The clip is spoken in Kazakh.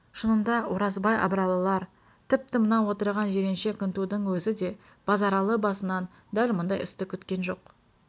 шынында оразбай абыралылар тіпті мынау отырған жиренше күнтудың өзі де базаралы басынан дәл мұндай істі күткен жоқ